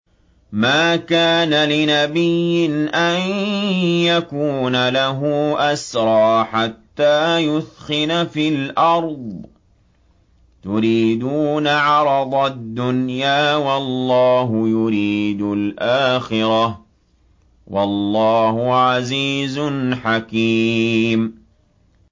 مَا كَانَ لِنَبِيٍّ أَن يَكُونَ لَهُ أَسْرَىٰ حَتَّىٰ يُثْخِنَ فِي الْأَرْضِ ۚ تُرِيدُونَ عَرَضَ الدُّنْيَا وَاللَّهُ يُرِيدُ الْآخِرَةَ ۗ وَاللَّهُ عَزِيزٌ حَكِيمٌ